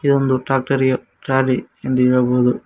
ಇದೊಂದು ಟ್ಯಾಕ್ಟರಿ ಯ ಟ್ರಾಲಿ ಎಂದು ಹೇಳಬಹುದು.